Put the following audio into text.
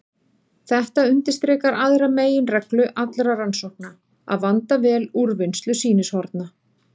Þetta undirstrikar aðra meginreglu allra rannsókna: að vanda vel úrvinnslu sýnishorna.